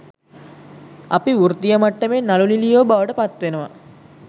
අපි වෘත්තීය මට්ටමේ නළු නිළියෝ බවට පත්වෙනවා.